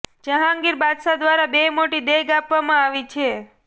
જહાંગીર બાદશાહ દ્વારા બે મોટી દેગ આપવામાં આવી છે